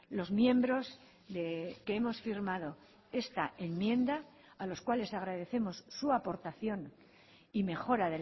los miembros que hemos firmado esta enmienda a los cuales agradecemos su aportación y mejora